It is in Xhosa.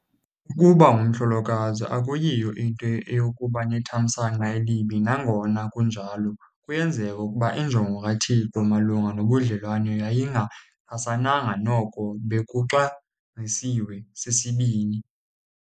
Ukuba ungumhlolokazi akuyiyo into eyokuba nethamsanqa elibi. Nangona kunjalo kuyenzeka ukuba injongo kaThixo malunga nobudlelwane yayingaxhasananga noko bekuxabisiwe sisibini.